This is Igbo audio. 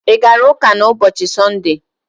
I gara ụka na ụbọchị sunde?